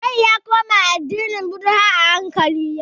John ya koma addinin Bhudha a haikali yau